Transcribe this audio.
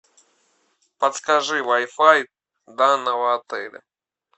подскажи вай фай данного отеля